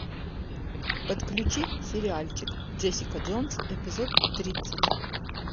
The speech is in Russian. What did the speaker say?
подключи сериальчик джессика джонс эпизод тридцать